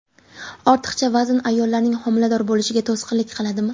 Ortiqcha vazn ayollarning homilador bo‘lishiga to‘sqinlik qiladimi?